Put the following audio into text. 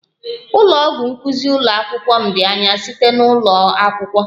Ụlọ ọgwụ nkuzi ụlọ akwụkwọ m dị anya site na ụlọ akwụkwọ